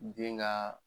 Den ka